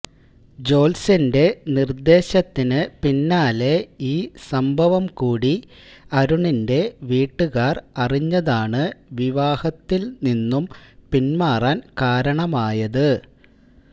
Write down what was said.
ജോത്സ്യന്റെ നിര്ദേശത്തിന് പിന്നാലെ ഈ സംഭവം കൂടി അരുണിന്റെ വീട്ടുകാര് അറിഞ്ഞതാണ് വിവാഹത്തില് നിന്നും പിന്മാറാന് കാരണമായത്